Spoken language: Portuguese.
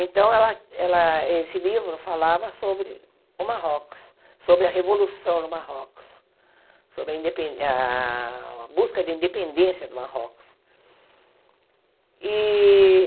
Então, ela ela esse livro falava sobre o Marrocos, sobre a revolução no Marrocos, sobre a indepen a a busca de independência do Marrocos. E